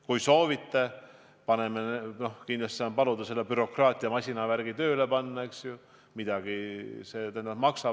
Kui soovite, siis saan paluda selle bürokraatia masinavärgi tööle panna, ent see tõenäoliselt maksab midagi.